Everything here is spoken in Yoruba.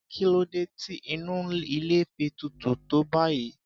Kí ló dé tí inú ilé fi tutù tó báyìí?